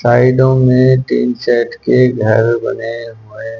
साइडों में tin shed के घर बने हुए--